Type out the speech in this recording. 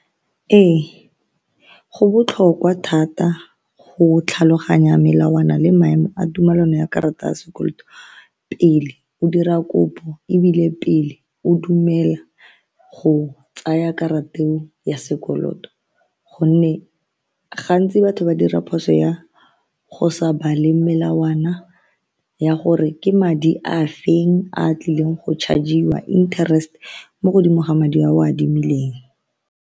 Ee, go botlhokwa thata go tlhaloganya melawana le maemo a tumelano ya karata ya sekoloto pele o dira kopo ebile pele o dumela go tsaya karata eo ya sekoloto gonne gantsi batho ba dira phoso ya go sa bale melawana ya gore ke madi a feng a tlileng go charge-iwa interest mo godimo ga madi a o a adimileng.